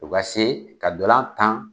O ka see ka dolan tan